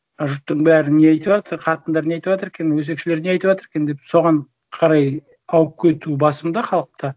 жұрттың бәрі не айтыватыр қатындар не айтыватыр екен өсекшілер не айтыватыр екен деп соған қарай ауып кету басым да халықта